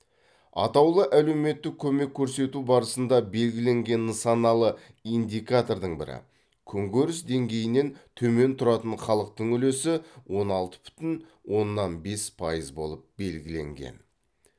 атаулы әлеуметтік көмек көрсету барысында белгіленген нысаналы индикатордың бірі күнкөріс деңгейінен төмен тұратын халықтың үлесі он алты бүтін оннан бес пайыз болып белгіленген